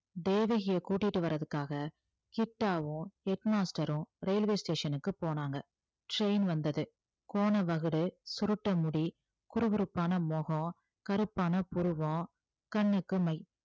தேவகியை கூட்டிட்டு வர்றதுக்காக கிட்டாவும் head master ம் railway station க்கு போனாங்க train வந்தது கோண வகுடு, சுருட்ட முடி, குறுகுறுப்பான முகம், கருப்பான புருவம், கண்ணுக்கு மை